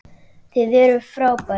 Þið eruð frábær.